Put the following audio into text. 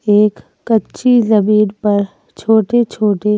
एक कच्ची जमीन पर छोटे-छोटे--